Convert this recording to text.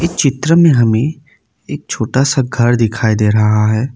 चित्र में हमें एक छोटा सा घर दिखाई दे रहा है।